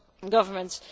governments.